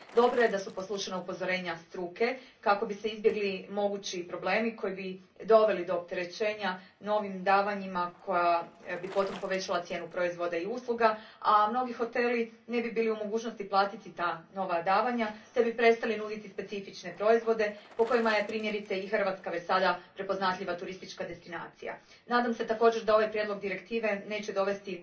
Dobro je da su poslušana upozorenja struke kako bi se izbjegli mogući problemi koji bi doveli do opterećenja novim davanjima, koja bi potom povećala cijenu proizvoda i usluga, a mnogi hoteli ne bi bili u mogućnosti platiti ta nova davanja te bi prestali nuditi specifične proizvode, po kojima je primjerice i Hrvatska već sada prepoznatljiva turistička destinacija. Nadam se također da ovaj prijedlog direktive neće dovesti